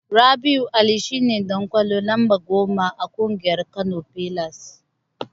Rabi'u Ali shine Dan ƙwallo lamba goma a ƙungiyar Kano pillars.